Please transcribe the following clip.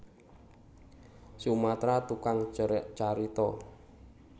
Sumatra Tukang carita